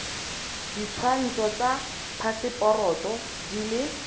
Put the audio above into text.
ditshwantsho tsa phaseporoto di le